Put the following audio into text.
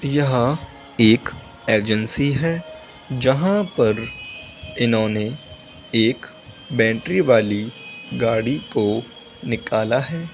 यह एक एजेंसी है। जहां पर इन्होंने एक बैटरी वाली गाड़ी को निकाला है।